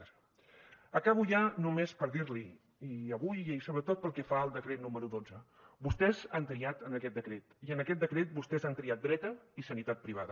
acabo ja només per dir li i avui i sobretot pel que fa al decret número dotze vostès han triat en aquest decret i en aquest decret vostès han triat dreta i sanitat privada